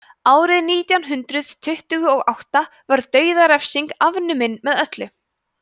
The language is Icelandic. árið nítján hundrað tuttugu og átta var dauðarefsing afnumin með öllu